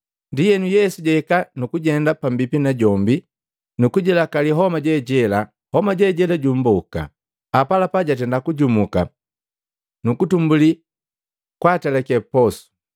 Ndienu Yesu jahika nukujenda pambipi najombi, nukujilakali homa je jela. Homa je jela jumboka, apalapa jatenda kujumuka, nukutumbuli kwaatelake posu.